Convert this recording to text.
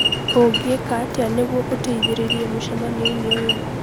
Ũngĩka atĩa nĩguo ũteithĩrĩrie mũcemanio-inĩ ũyũ?